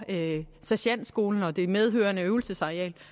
sergentskolen og det medfølgende øvelsesareal